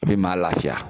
I bi maa lafiya